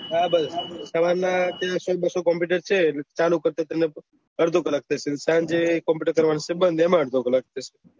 હા ભાઈ સવાર ના દેડશો ને બ્સ્શો કોમ્પુટર છે અર્ધો કલાક થશે ને સાંજે એ કોમ્પુટર બંદ કરવાનું એમાં અર્ધો કલાક થશે